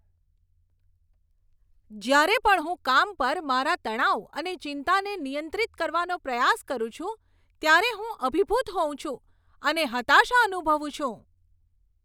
જ્યારે પણ હું કામ પર મારા તણાવ અને ચિંતાને નિયંત્રિત કરવાનો પ્રયાસ કરું છું ત્યારે હું અભિભૂત હોઉં છું અને હતાશા અનુભવું છું.